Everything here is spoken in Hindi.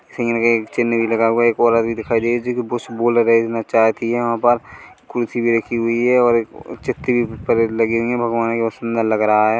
एक चिह्न भी लगा हुआ है एक औरत भी दिखाई दे रही जो कि बस बोल रहे ना चाहती है वहाँ पर कुर्सी भी रखी हुई है और एक अअ परेद लगे हुई है भगवान भी बहुत सुंदर लग रहा है।